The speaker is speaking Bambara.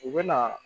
U bɛ na